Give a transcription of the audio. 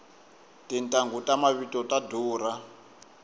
tintanghu ta mavito ta durha